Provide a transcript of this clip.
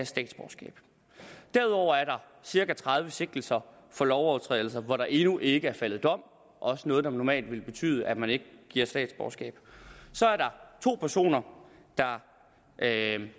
statsborgerskab derudover er der cirka tredive sigtelser for lovovertrædelser hvor der endnu ikke faldet dom også noget der normalt vil betyde at man ikke giver statsborgerskab så er der to personer der kan